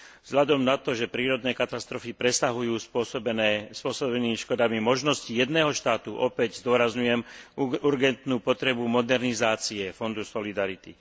Vzhľadom na to, že prírodné katastrofy presahujú spôsobenými škodami možnosti jedného štátu, opäť zdôrazňujem urgentnú potrebu modernizácie fondu solidarity.